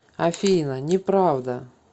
афина не правда